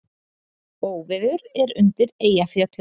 Óveður er er undir Eyjafjöllum